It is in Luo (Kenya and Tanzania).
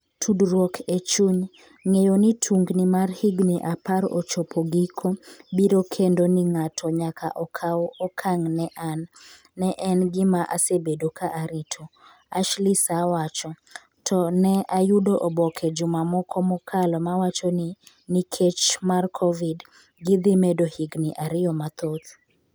Tudruok e chuny "Ng'eyo ni tungni mar higni apar ochopo giko biro kendo ni ng'ato nyaka okaw okang' ne an, ne en gima asebedo ka arito," Ashley sa wacho "To ne ayudo oboke juma moko mokalo ma wacho ni, nikech mar Covid, gidhi medo higni ariyo mathoth.